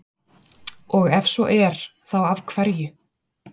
Og ef svo er þá af hverju?